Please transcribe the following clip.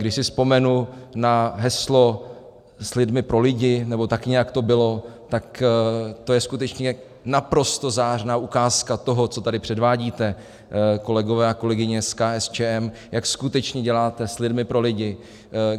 Když si vzpomenu na heslo "s lidmi pro lidi", nebo tak nějak to bylo, tak to je skutečně naprosto zářná ukázka toho, co tady předvádíte, kolegové a kolegyně z KSČM, jak skutečně děláte s lidmi pro lidi.